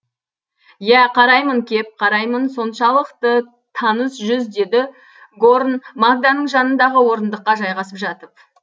иә қараймын кеп қараймын соншалықты таныс жүз деді горн магданың жанындағы орындыққа жайғасып жатып